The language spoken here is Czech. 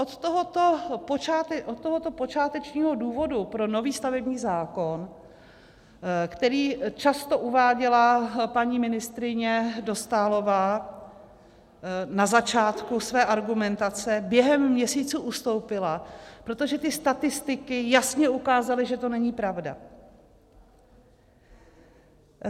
Od tohoto počátečního důvodu pro nový stavební zákon, který často uváděla paní ministryně Dostálová na začátku své argumentace, během měsíců ustoupila, protože ty statistiky jasně ukázaly, že to není pravda.